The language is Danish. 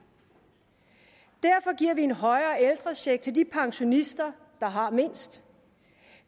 derfor giver vi en højere ældrecheck til de pensionister der har mindst